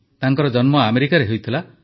ତାଙ୍କ ଜନ୍ମ ଆମେରିକାରେ ହୋଇଥିଲା